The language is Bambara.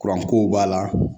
kow b'a la